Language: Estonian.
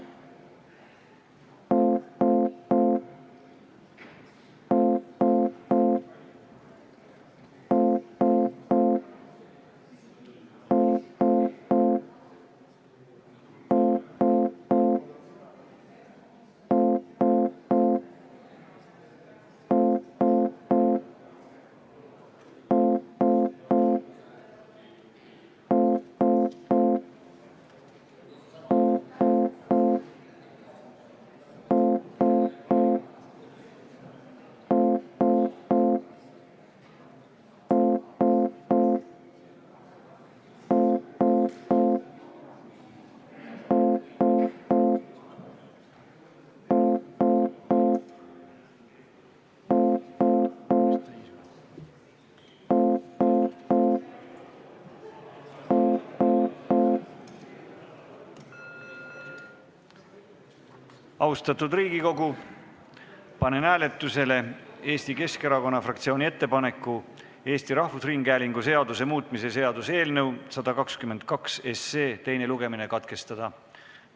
Austatud Riigikogu, panen hääletusele Eesti Keskerakonna fraktsiooni ettepaneku Eesti Rahvusringhäälingu seaduse muutmise seaduse eelnõu 122 teine lugemine katkestada.